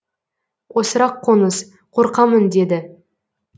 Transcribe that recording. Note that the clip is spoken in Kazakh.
осырақ қоңыз қорқамын деді